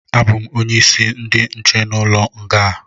Abụ m onye isi ndi nche n'ụlọ nga a